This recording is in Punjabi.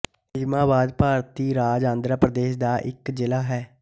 ਨਿਜਾਮਾਬਾਦ ਭਾਰਤੀ ਰਾਜ ਆਂਦਰਾ ਪ੍ਰਦੇਸ਼ ਦਾ ਇੱਕ ਜ਼ਿਲਾ ਹੈ